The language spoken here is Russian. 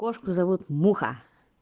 кошку зовут муха